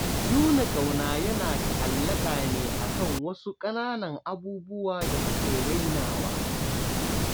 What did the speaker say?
Nuna ƙauna yana ta'allaƙa ne a kan wasu ƙananan abububuwa da muke rainawa